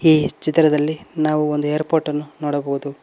ಈ ಚಿತ್ರದಲ್ಲಿ ನಾವು ಒಂದು ಏರ್ ಪೋರ್ಟ್ ಅನ್ನು ನೋಡಬಹುದು.